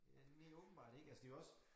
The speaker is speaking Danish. Øh åbenbart ikke altså det jo også